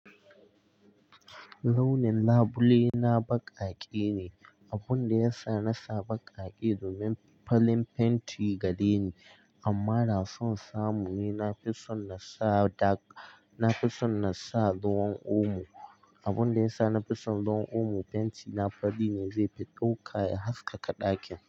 Launin labule na baƙaƙe ne, abun da ya sa na sa baƙaƙe domin falin fenti gare ni, amma na so samu. Na fi son na sa dark, na fi son na sa ruwan omo, abun da ya sa na fi son ruwan omo fenti na fari ne zai fi ɗauka ya haskaka ɗakin.